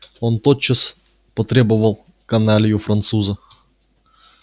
он тотчас потребовал каналью француза